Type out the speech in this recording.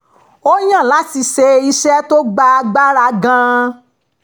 ó yàn láti ṣe iṣẹ́ tó gba agbára gan-an